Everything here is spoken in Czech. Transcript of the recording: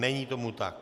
Není tomu tak.